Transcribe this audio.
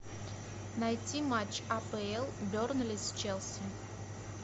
найти матч апл бернли с челси